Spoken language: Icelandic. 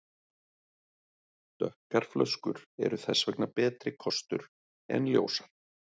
Dökkar flöskur eru þess vegna betri kostur en ljósar.